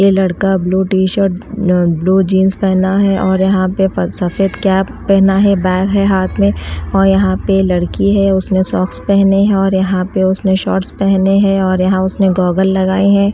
ए लड़का blue T-shirt blue jeans पहना है और यहां पे सफेद कैप पहना है बैग है हाथ में और यहां पे लड़की है। उसने सॉक्स पहने है और यहां पे उसने शॉर्ट्स पहने हैं और यहां पर उसने गॉगल लगाए हैं।